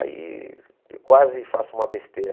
Aí eu quase faço uma besteira.